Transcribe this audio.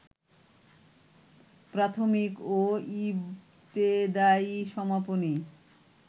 প্রাথমিক ও ইবতেদায়ী সমাপনী